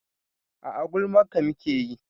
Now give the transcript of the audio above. A'a gulman ka muke yi